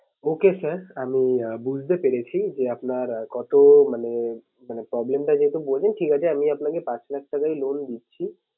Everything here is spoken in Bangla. Okay sir আমি আঁ বুঝতে পেরেছি যে আপনার কত মানে, মানে problem টা যেহেতু বললেন ঠিক আছে আমি আপনাকে পাঁচ লাখ টাকাই loan দিচ্ছি।